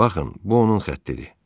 Baxın, bu onun xəttidir.